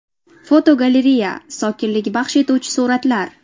Fotogalereya: Sokinlik baxsh etuvchi suratlar.